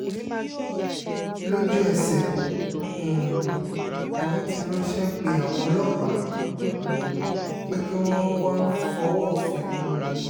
lójú-ẹsẹ̀ um ni wọ́n ti ránṣẹ́ pe àwọn ọlọ́pàá um pé kí wọ́n wáá fọwọ́ òfin mú wọn